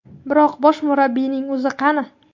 Biroq bosh murabbiyning o‘zi qani?